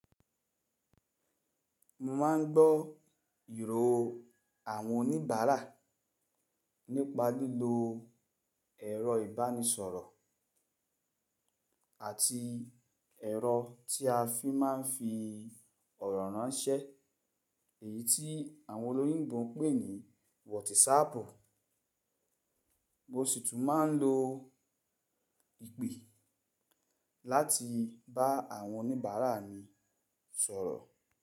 Mo ma n gbọ ìró àwọn oníbàárà nípa lílo ẹ̀rọ ìbánisọ̀rọ̀ àti ẹ̀rọ tí a fi máa ń fi ọ̀rọ̀ ránṣẹ́ èyí tí àwọn olóyìnbó ń pè ní WhatsApp. Mo sì tún máa ń lo ìpè láti bá àwọn oníbàárà mi sọ̀rọ̀